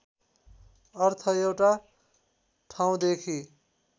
अर्थ एउटा ठाउँदेखि